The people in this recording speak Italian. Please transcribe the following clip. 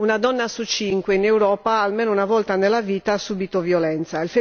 Una donna su cinque in Europa almeno una volta nella vita ha subito violenza.